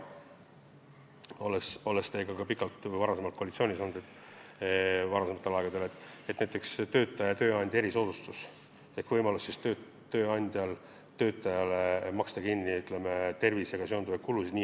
Olen teiega varem pikalt ühes koalitsioonis olnud ja mäletan, et varem oli jutuks tööandja erisoodustus ehk tööandja võimalus maksta töötajale kinni tema tervisega seonduvaid kulusid.